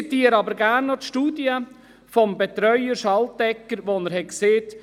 Ich zitiere aber gerne noch den Betreuer der Studie, Christoph Schaltegger: